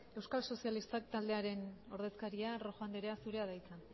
euskal sozialistak taldearen ordezkaria rojo andrea zurea da hitza